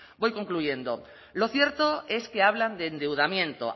voy concluyendo lo cierto es que hablan de endeudamiento